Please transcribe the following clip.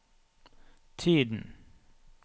tiden